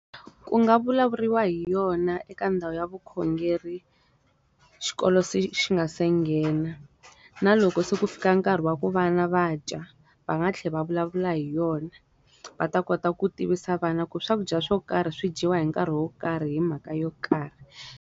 Ku nga vulavuriwa hi yona eka ndhawu ya vukhongeri, xikolo se xi nga se nghena. Na loko se ku fika nkarhi wa ku vana va dya, va nga tlhela va vulavula hi yona. Va ta kota ku tivisa vana ku swakudya swo karhi swi dyiwa hi nkarhi wo karhi hi mhaka yo karhi.